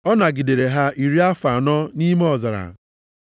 Ọ nagidere ha iri afọ anọ nʼime ọzara.